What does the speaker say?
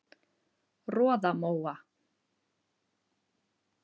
Roðamóa